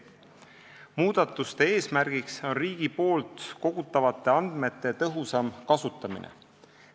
Muudatuste eesmärk on riigi kogutavate andmete tõhusam kasutamine.